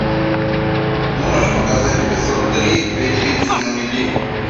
можешь показать эпизод три две девицы на мели